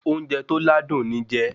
Oúnjẹ tó ládùn ni jé